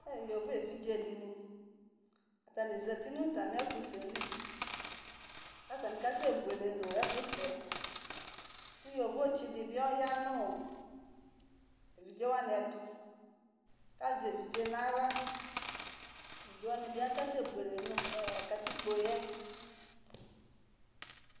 e yovo evidze dini atani zati nu atamieku sɛli katani kasebuele nu ekusɛ ku yovo tsi dibi ɔya nu evidze wani etu kaze evidze nayla evidze wanibi akase buelé nu katikpo ye